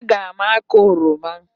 Aga m akụ oroma